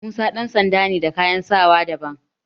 Musa ɗan sanda ne da kayan sawa daban.